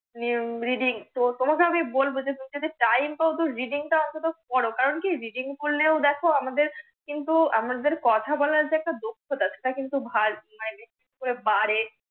READING তো তোমাকে আমি বলবো যে তুমি যদি TIME পাও তো READING টা অন্তত পড়ো, কারণ কি READING পড়লে ও আমাদের কিন্তু আমাদের কথা বলার যে একটা দক্ষতা সে টা কিন্তু বিশেষ করে বাড়ে।